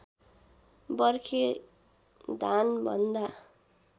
बर्खे धान भन्दा